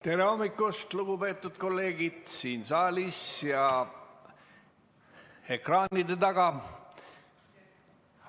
Tere hommikust, lugupeetud kolleegid siin saalis ja ekraanide taga!